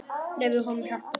Leyfðu honum að hjálpa þér.